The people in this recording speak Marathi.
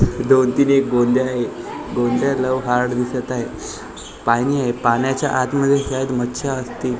दोन ती एक आहे लव्ह हार्ड दिसत आहे पाणी आहे पाण्याच्या आत मध्ये शायद मच्छर असतील बाजूला --